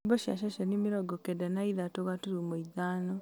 nyĩmbo cia ceceni mĩrongo kenda na ithatũ gaturumo ithano